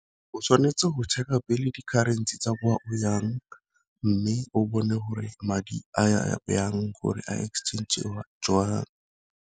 O tshwanetse go check a pele di-currency tsa kwa o yang, mme o bone gore madi a ya yang gore a exchange joang.